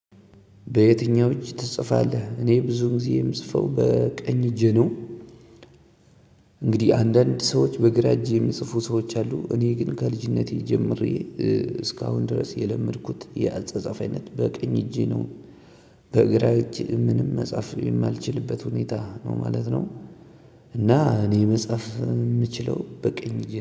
በየትኛው እጅ ትጽፋለህ? እኔ ብዙ ጊዜ የምጽፈው በቀኝ እጄ ነው። እንግዲህ አንዳንድ ሰዎች በግራ እጅ የሚጽፉ ሰዎች አሉ እኔ ግን ከ ልጅነቴ ጀምሬ እስካሁን ድረስ የለመድኩት የአጻጻፍ አይነት በቀኝ እጄ ነው። በግራ እጅ ምንም መጻፍ የማልችበት ሁኔታ ነው ማለት ነው። እና እኔ መጻፍ ምችለው በቀኝ እጄ